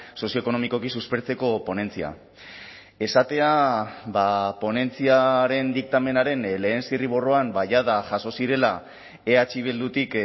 sozioekonomikoki suspertzeko ponentzia esatea ponentziaren diktamenaren lehen zirriborroan jada jaso zirela eh bildutik